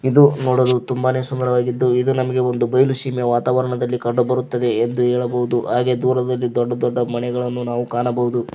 ಇದು ನೋಡಲು ತುಂಬಾನೆ ಸುಂದರವಾಗಿದ್ದು ಇದು ನಮಗೆ ಬಯಲು ಸೀಮೆ ವಾತಾವರಣದಲ್ಲಿ ಕಂಡುಬರುತ್ತದೆ ಎಂದು ಹೇಳಬೌದು ಹಾಗೆ ದೂರದಲ್ಲಿ ದೊಡ್ಡ ದೊಡ್ಡ ಮನೆಗಳನ್ನು ನಾವು ಕಾಣಬೌದು.